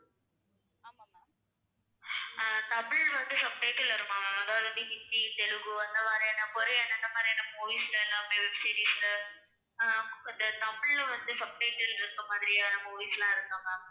அஹ் தமிழ் வந்து subtitle வருமா? அதாவது வந்து ஹிந்தி, தெலுங்கு அந்த மாதிரியான, கொரியன் அந்த மாதிரியான movies ல எல்லாமே web series ல அஹ் தமிழ்ல வந்து subtitle இருக்க மாதிரியான movies எல்லாம் இருக்கா ma'am?